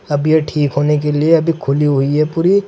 अभी ये ठीक होने के लिए अभी खुली हुई है पूरी।